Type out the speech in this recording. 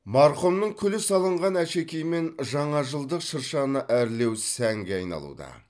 марқұмның күлі салынған әшекеймен жаңажылдық шыршаны әрлеу сәнге айналуда